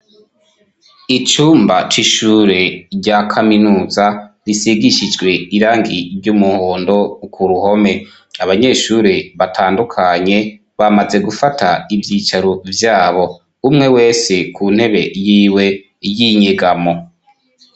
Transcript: Icumba c'ishure rya kaminuza risigishijwe irangi ry'umuhondo ku ruhome, abanyeshure batandukanye bamaze gufata ivyicaro vyabo, umwe wese ku ntebe yiwe y'inyegamo.